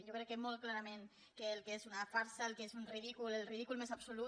jo crec que molt clarament que és una farsa que és un ridícul el ridícul més absolut